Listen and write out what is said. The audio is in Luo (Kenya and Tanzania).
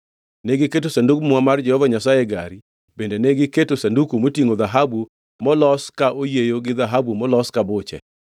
Negiketo Sandug Muma mar Jehova Nyasaye e gari bende negiketo Sanduku motingʼo dhahabu molos ka oyieyo gi dhahabu molos ka buche.